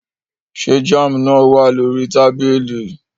Ṣé jam náà wà lórí tábìlì?